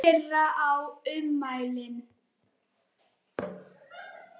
Hvor þeirra á ummælin?